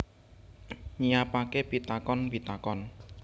Nyiapake pitakon pitakon